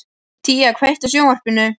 Tía, kveiktu á sjónvarpinu.